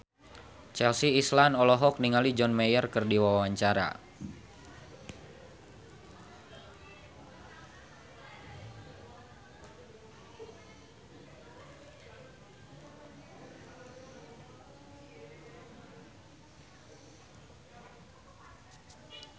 Chelsea Islan olohok ningali John Mayer keur diwawancara